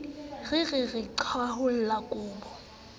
re re re qhwaolla kobo